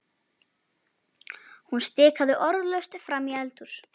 Hún stikaði orðalaust fram í eldhús.